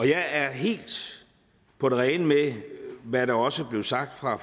jeg er helt på det rene med hvad der også blev sagt fra